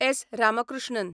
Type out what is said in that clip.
S. Ramakrishnan